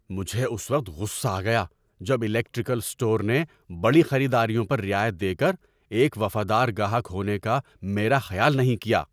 مجھے اس وقت غصہ آ گیا جب الیکٹریکل اسٹور نے بڑی خریداریوں پر رعایت دے کر ایک وفادار گاہک ہونے کا میرا خیال نہیں کیا۔